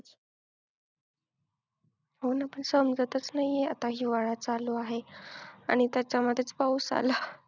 हो ना पण समजतच नाहीये आता हिवाळा चालू आहे आणि त्याच्यामध्येच पाऊस आला.